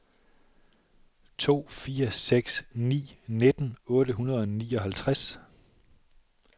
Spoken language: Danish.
to fire seks ni nitten otte hundrede og nioghalvtreds